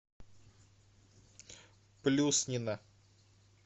плюснина